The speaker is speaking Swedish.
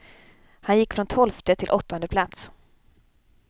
Han gick från tolfte till åttonde plats.